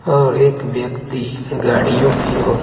और एक व्यक्ति गाड़ियों की ओर--